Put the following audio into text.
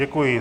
Děkuji.